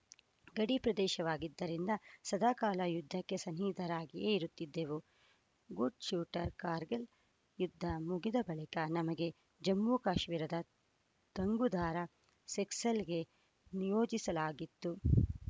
ಗಡಿ ಪ್ರದೇಶವಾಗಿದ್ದರಿಂದ ಸದಾಕಾಲ ಯುದ್ಧಕ್ಕೆ ಸನ್ನಿದ್ಧರಾಗಿಯೇ ಇರುತ್ತಿದ್ದೆವು ಗುಡ್‌ ಶೂಟರ್‌ ಕಾರ್ಗಿಲ್‌ ಯುದ್ಧ ಮುಗಿದ ಬಳಿಕ ನಮಗೆ ಜಮ್ಮು ಕಾಶ್ಮೀರದ ತುಂಗುದಾರ ಸೆಕ್ಟರ್‌ಗೆ ನಿಯೋಜಿಸಲಾಯಿತು